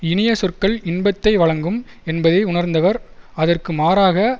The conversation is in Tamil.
இனிய சொற்கள் இன்பத்தை வழங்கும் என்பதை உணர்ந்தவர் அதற்கு மாறாக